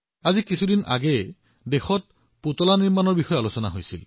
মাত্ৰ কেইদিনমান আগতে আমাৰ দেশত পুতলাৰ বিষয়ে আলোচনা কৰা হৈছিল